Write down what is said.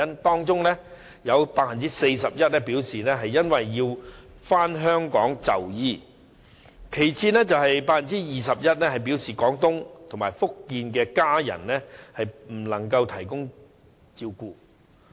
當中有 41% 表示要回港就醫，其次有 21% 表示廣東或福建的家人不能提供照顧。